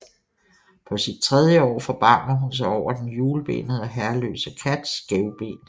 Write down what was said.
På sit tredje år forbarmer hun sig over den hjulbenede og herreløse kat Skævben